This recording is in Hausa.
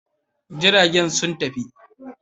Jiragen sun tafi.